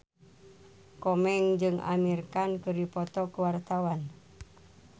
Komeng jeung Amir Khan keur dipoto ku wartawan